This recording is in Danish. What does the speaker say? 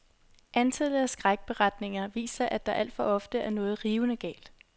Antallet af skrækberetninger viser, at der alt for ofte er noget rivende galt.